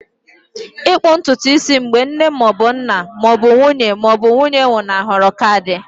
Ịkpụ ntutu isi mgbe nne ma ọ bụ nna ma ọ bụ nwunye ma ọ bụ nwunye nwụnahụrụ ka dị.